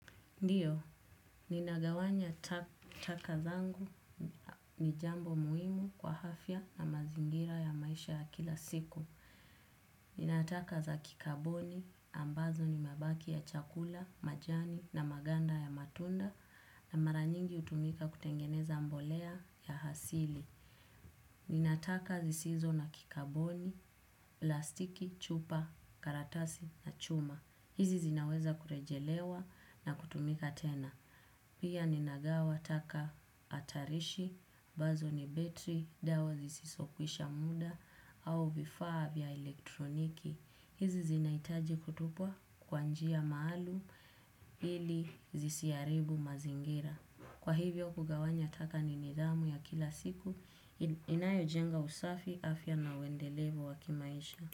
Ndiyo, ninagawanya taka zangu ni jambo muhimu kwa afya na mazingira ya maisha ya kila siku. Nina taka za kikaboni ambazo ni mabaki ya chakula, majani na maganda ya matunda na mara nyingi utumika kutengeneza mbolea ya hasili. Ninataka zisizo na kikaboni, plastiki, chupa, karatasi na chuma. Hizi zinaweza kurejelewa na kutumika tena. Pia ninagawa taka atarishi, ambazo ni battery, dawa zisizokwisha muda, au vifaa vya elektroniki. Hizi zinaitaji kutupwa kwa njia maalum ili zisiaribu mazingira. Kwa hivyo kugawanya taka ni nidhamu ya kila siku, inayojenga usafi afya na uendelevu wa kimaisha.